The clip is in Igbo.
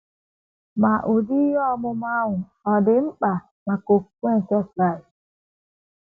Ma, ụdị ihe ọmụma ahụ ọ̀ dị mkpa maka okwukwe nke Onye Kraịst?